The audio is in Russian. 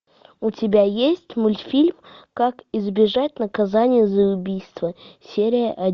у тебя есть мультфильм как избежать наказания за убийство серия